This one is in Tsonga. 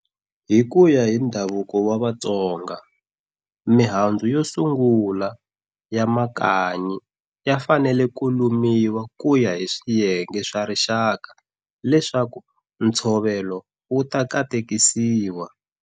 Hi kuya hi ndhavuko wa Vatsonga, mihandzu yo sungula ya makanyi yi fanele ku lumiwa kuya hi swiyenge swa rixaka leswaku ntshovelo wu ta katekisiwa.